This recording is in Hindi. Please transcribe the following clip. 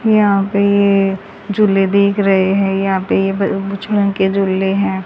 यहा पे झूले दिख रहे है यहा पे झूले है।